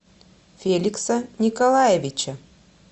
феликса николаевича